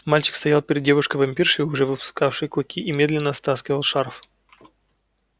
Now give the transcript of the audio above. мальчик стоял перед девушкой-вампиршей уже выпустившей клыки и медленно стаскивал шарф